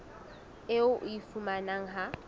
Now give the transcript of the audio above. eo o e fumanang ha